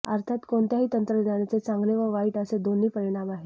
अर्थात कोणत्याही तंत्रज्ञानाचे चांगले व वाईट असे दोन्ही परिणाम आहेत